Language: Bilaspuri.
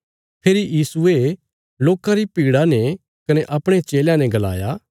फेरी यीशुये लोकां री भीड़ा ने कने अपणे चेलयां ने गलाया